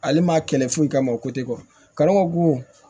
Ale ma kɛlɛ foyi kama o kalama ko